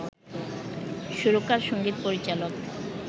সুরকার, সঙ্গীত পরিচালক